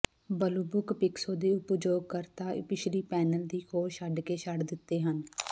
Bluebook ਪਿਕਸੋ ਦੇ ਉਪਯੋਗਕਰਤਾ ਪਿਛਲੀ ਪੈਨਲ ਦੀ ਖੋਜ਼ ਛੱਡ ਕੇ ਛੱਡ ਦਿੱਤੇ ਹਨ